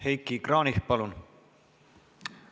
Heiki Kranich, palun!